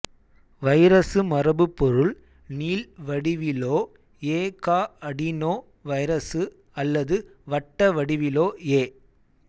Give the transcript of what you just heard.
virus மரபுப்பொருள் நீள் வடிவிலோ எ கா அடினோ வைரசு அல்லது வட்ட வடிவிலோ எ